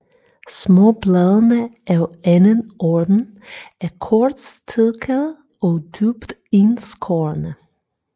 Småbladene af anden orden er kortstilkede og dybt indskårne